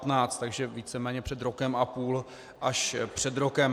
Takže víceméně před rokem a půl až před rokem.